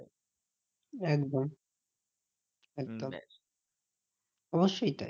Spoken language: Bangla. একদম একদম অবশ্যই তাই।